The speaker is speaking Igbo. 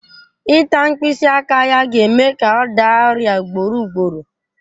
Ịta mkpịsị aka ya ga-eme ka ọ daa ọrịa ugboro ugboro